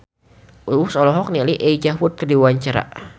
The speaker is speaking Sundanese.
Uus olohok ningali Elijah Wood keur diwawancara